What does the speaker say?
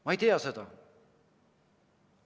Ma ei tea seda.